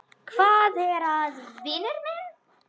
Hvað er að, vinur minn?